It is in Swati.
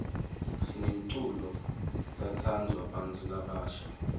sinemculo tsatsanduwa bnatfu labasha